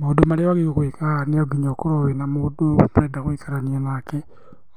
Maũndũ marĩa wagĩrĩirwo gũĩka, no nginya ũkorwo wĩna mũndũ ũngĩenda gũikarania nake,